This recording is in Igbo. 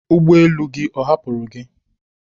ụgbọ elu gị ọ hapụrụ gi?